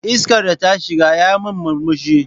Iskar da ta shiga yi min murmushi.